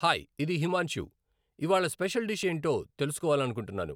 Hi ఇది హిమాంషు , ఇవ్వాళ special dish ఏంటో తెలుసుకోవాలనుకుంటున్నాను.